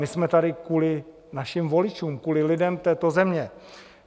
My jsme tady kvůli našim voličům, kvůli lidem této země.